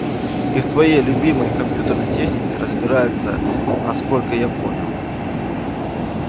и в твоей любимой компьютерной технике разбирается насколько я понял